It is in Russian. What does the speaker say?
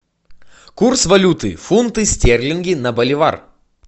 курс валюты фунты стерлинги на боливар